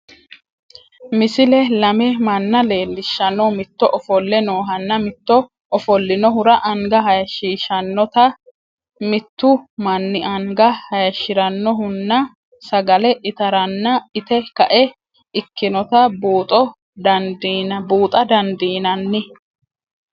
Misile lame mana leelishano, mito offole noohanna mite ofolinohura anga hayishishanotta, mitu mani anga hayishiranohuna sagale itaranna itte ka'e ikkinotta buuxxa dandinanni